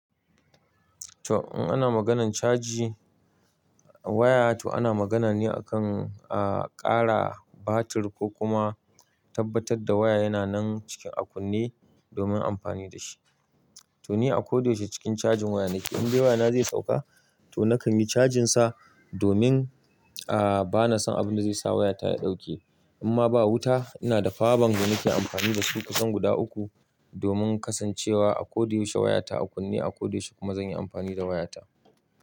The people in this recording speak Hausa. To, in ana maganan caji waya to ana magana ne akan, a ƙara batir ko kuma tabbatar da waya yana nan cike akunne domin amfani da shi. To ni a ko da yaushe cikin cajin waya nake. In dai wayana zai sauka, nakan yi cajin sa domin ahh bana son abin da zai sa wayata ya dauke In ma ba wuta ina da Power bank da nake amfani da su kusan guda uku domin kasancewa a ko da yaushe wayata a kunne, a ko da yaushe kuma zan yi amfani da wayata.